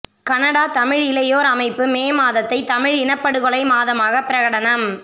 Canada Tamil இளையோர் அமைப்பு May மாதத்தை தமிழ் இனப்படுகொலை மாதமாக பிரகடனம்